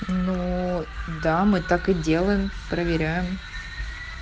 ну да мы так и делаем проверяем